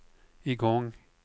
igång